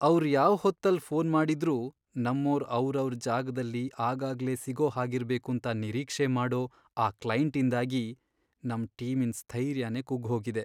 ಅವ್ರ್ ಯಾವ್ ಹೊತ್ತಲ್ ಫೋನ್ ಮಾಡಿದ್ರೂ ನಮ್ಮೋರು ಅವ್ರವ್ರ್ ಜಾಗ್ದಲ್ಲಿ ಆಗಾಗ್ಲೇ ಸಿಗೋ ಹಾಗಿರ್ಬೇಕೂಂತ ನಿರೀಕ್ಷೆ ಮಾಡೋ ಆ ಕ್ಲೈಂಟ್ಇಂದಾಗಿ ನಮ್ ಟೀಮಿನ್ ಸ್ಥೈರ್ಯನೇ ಕುಗ್ಗ್ಹೋಗಿದೆ.